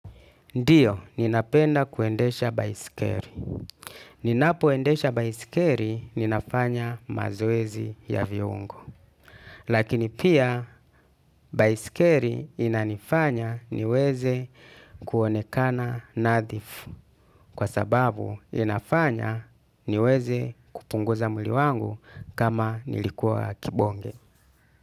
Ndio, ninapenda kuendesha baisikeli. Ninapo endesha baisikelo, ninafanya mazoezi ya viungo. Lakini pia, baisikeli inanifanya niweze kuonekana nadhifu. Kwa sababu, inafanya niweze kupunguza mwili wangu kama nilikuwa kibonge.